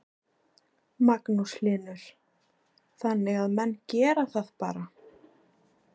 Magnús Hlynur: Þannig að menn gera það bara?